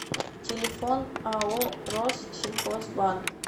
телефон ао россельхозбанк